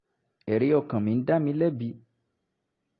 ẹ̀rí ọkàn mi ń dá mi lẹ́bi